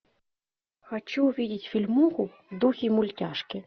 хочу увидеть фильмуху в духе мультяшки